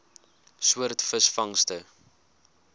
soort visvangste